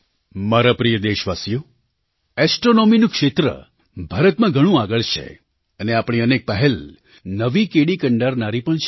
મારા પ્રિય દેશવાસીઓ ઍસ્ટ્રૉનૉમીનું ક્ષેત્ર ભારતમાં ઘણું આગળ છે અને આપણીઅનેક પહેલ નવી કેડી કંડારનારી પણ છે